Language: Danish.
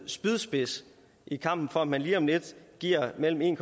spydspids i kampen for at man lige om lidt giver mellem en